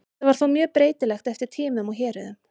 Þetta var þó mjög breytilegt eftir tímum og héruðum.